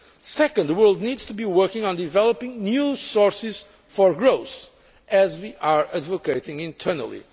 Second, the world needs to be working on developing new sources for growth, as we are advocating internally.